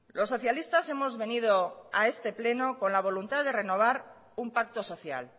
los socialistas hemos venido a este pleno con la voluntad de renovar un pacto social